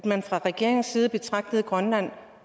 at man fra regeringens side betragter grønland